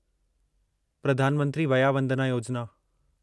Pradhan Mantri Vaya Vandana Yojana